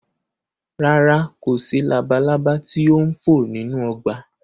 Rárá, kò sí labalaba tí ó ń fò nínú ọgbà